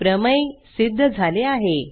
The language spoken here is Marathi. प्रमेय सिध्द झाले आहे